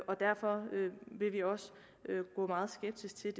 og derfor vil vi også gå meget skeptisk til